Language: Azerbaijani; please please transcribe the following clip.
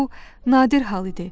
Bu nadir hal idi.